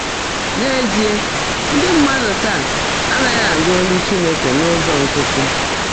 N’ézíe, ndị́ mmádụ́ táá ádị́ghị́ ánụ́ ólú Chínekè n’ụ́zọ́ ńkịtị́.